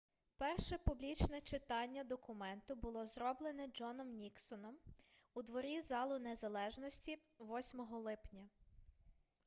перше публічне читання документу було зроблене джоном ніксоном у дворі залу незалежності 8 липня